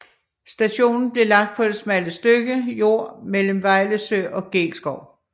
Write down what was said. Stationen blev lagt på det smalle stykke jord mellem Vejlesø og Geelskov